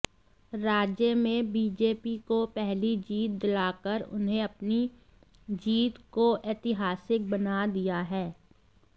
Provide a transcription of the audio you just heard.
राज्य में बीजेपी को पहली जीत दिलाकर उन्हें अपनी जीत को ऐतिहासिक बना दिया है